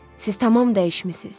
Siz tamam dəyişmisiz.